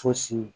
Fosi